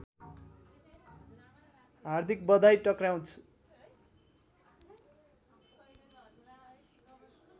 हार्दिक बधाई टक्र्याउँदछु